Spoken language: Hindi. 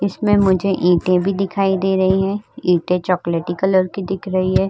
इसमें मुझे ईटे भी दिखाइ रही हैं। ईटें चॉकलेटी कलर की दिख रही है।